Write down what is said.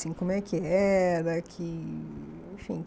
Assim, como é que era que? Enfim